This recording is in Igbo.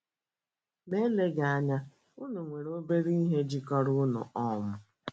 Ma eleghi eleghi anya unu nwere obere ihe jikọrọ unu um